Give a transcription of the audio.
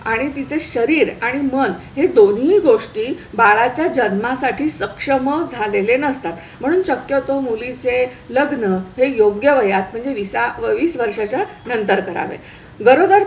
आणि तिचे शरीर आणि मन हे दोन्ही गोष्टी बाळाच्या जन्मासाठी सक्षम झालेले नसतात. म्हणून शक्यतो मुलीचे लग्न हे योग्य वयात म्हणजे वीस वर्षाच्या नंतर करावे. गरोदर